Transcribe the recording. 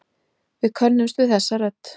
Við könnumst við þessa rödd.